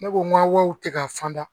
Ne ko n ka wariw tɛ ka fan da